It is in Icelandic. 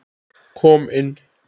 Kom inn